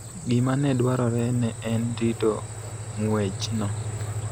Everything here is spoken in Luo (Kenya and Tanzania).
gima ne dwarore ne en rito ng�wechno.